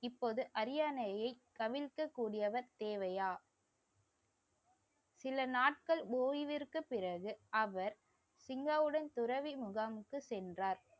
இப்போது அரியணையை கவிழ்க்க கூடியவர் தேவையா சில நாட்கள் ஓய்விற்கு பிறகு அவர் சிங்கவுடன் துறவி முகாமுக்கு சென்றார்